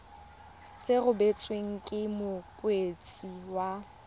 se rebotswe ke mokwadisi wa